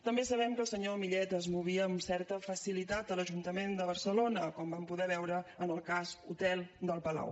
també sabem que el senyor millet es movia amb certa facilitat a l’ajuntament de barcelona com vam poder veure en el cas hotel del palau